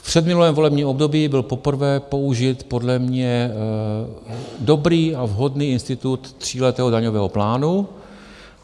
V předminulém volebním období byl poprvé použit podle mě dobrý a vhodný institut tříletého daňového plánu.